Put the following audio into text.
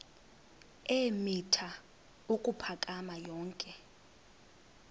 eemitha ukuphakama yonke